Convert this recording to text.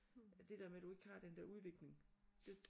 Det der med du ikke har den der udvikling det